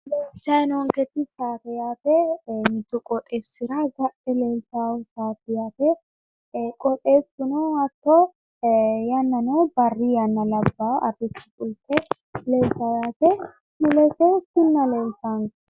Leeltayi noonketi saate yaate. Mittu qooxeessira gadhe leeltawo yaate qooxeessuno hatto yannano barri yanna labbawo arrishsho fulte leltawo yaate mulese kinna leeltaanke.